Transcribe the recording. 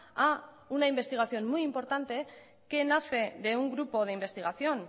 a una investigación muy importante que nace de un grupo de investigación